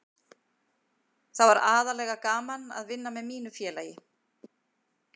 Það var aðallega gaman að vinna með mínu félagi.